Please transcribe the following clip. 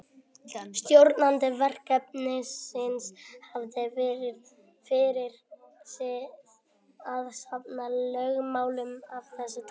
Stjórnandi verkefnisins hafði fyrir sið að safna lögmálum af þessu tagi.